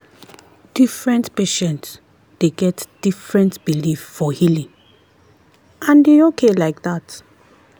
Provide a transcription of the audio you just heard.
different patient dey get different belief for healing and e okay like that.